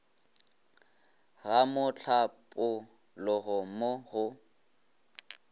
ga mohlapo logo mo go